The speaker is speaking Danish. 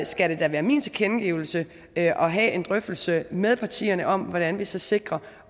skal det da være min tilkendegivelse at have en drøftelse med partierne om hvordan vi så sikrer